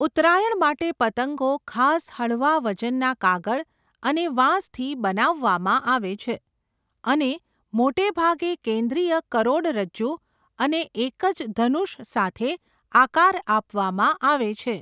ઉત્તરાયણ માટે પતંગો ખાસ હળવા વજનના કાગળ અને વાંસથી બનાવવામાં આવે છે અને મોટે ભાગે કેન્દ્રીય કરોડરજ્જુ અને એક જ ધનુષ સાથે આકાર આપવામાં આવે છે.